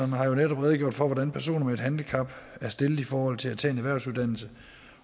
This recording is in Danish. har jo netop redegjort for hvordan personer med et handicap er stillet i forhold til at tage en erhvervsuddannelse